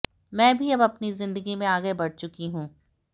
मैं भी अब अपनी जिंदगी में आगे बढ़ चुकी हूं